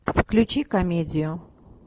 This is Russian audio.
включи комедию